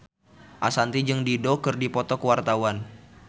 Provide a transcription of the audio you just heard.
Ashanti jeung Dido keur dipoto ku wartawan